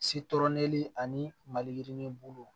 ani maliyirinin bulu